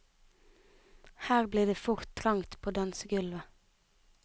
Her blir det fort trangt på dansegulvet.